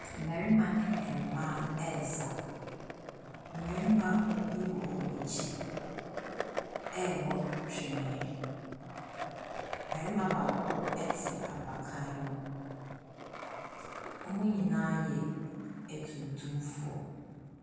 Mmarima ɛne ɛmaa ɛɛsa. Mmarima bi wɔ ɔm'akyi ɛɛbɔ twenee. Bɛɛma baako ɛte apakan mu. Ɔmo nyinaa yɛ atuntumfoɔ.